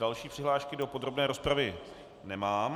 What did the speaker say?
Další přihlášky do podrobné rozpravy nemám.